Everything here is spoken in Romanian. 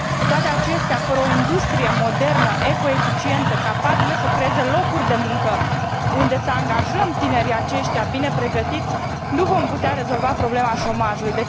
Cu toate acestea, fără o industrie modernă, eco eficientă, capabilă să creeze locuri de muncă unde să angajăm tinerii aceștia bine pregătiți, nu vom putea rezolva problema șomajului.